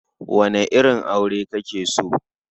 Wane irin aure kake so?